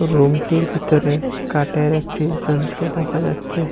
রুমটির ভিতরে কাঠের একটি যন্ত্র দেখা যাচ্ছে।